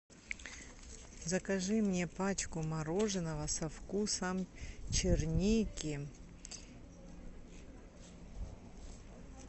закажи мне пачку мороженого со вкусом черники